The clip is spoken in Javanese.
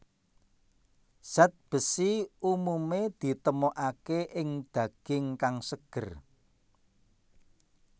Zat besi umumé ditemokaké ing daging kang seger